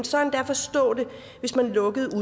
så endda forstå det hvis man lukkede